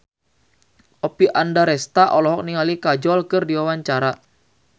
Oppie Andaresta olohok ningali Kajol keur diwawancara